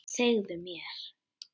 Segðu mér.